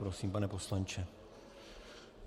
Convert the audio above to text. Prosím, pane poslanče.